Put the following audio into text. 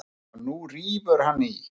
Og nú rífur hann í.